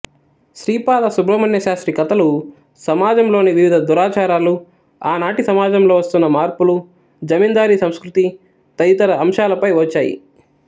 శ్రీపాద సుబ్రహ్మణ్యశాస్త్రి కథలు సమాజంలోని వివిధ దురాచారాలు ఆనాటి సమాజంలో వస్తున్న మార్పులు జమీందారీ సంస్కృతి తదితర అంశాలపై వచ్చాయి